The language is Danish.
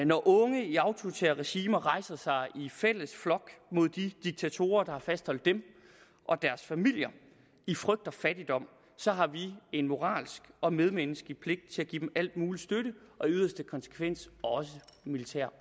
når unge i autoritære regimer rejser sig i fælles flok mod de diktatorer der har fastholdt dem og deres familier i frygt og fattigdom så har vi en moralsk og medmenneskelig pligt til at give dem al mulig støtte og i yderste konsekvens også militær